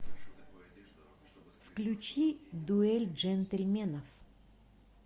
включи дуэль джентельменов